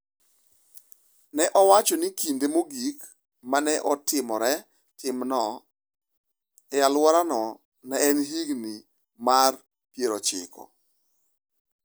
Ne owacho ni kinde mogik ma ne otimore timno e alworano ne en e higni mag 90.